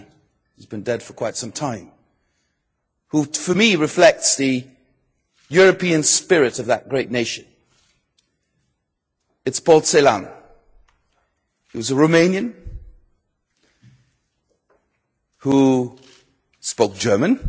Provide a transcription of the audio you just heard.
Sadly he has been dead for quite some time, but for me he reflects the European spirit of that great nation. It is Paul Celan. He was a Romanian who spoke German.